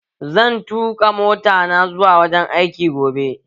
Zan tuƙa mota ta zuwa wurin aiki gobe